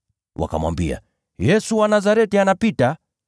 Wakamwambia, “Yesu wa Nazareti anapita.”